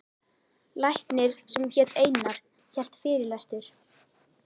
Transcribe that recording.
Læknir sem hét Einar hélt fyrirlestur.